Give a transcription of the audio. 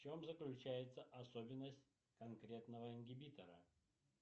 в чем заключается особенность конкретного ингибитора